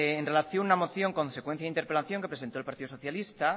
en relación a una moción consecuencia de interpelación que presentó el partido socialista